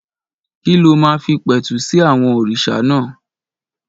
Kí ló máa fi pẹ̀tù sí àwọn òrìṣà náà?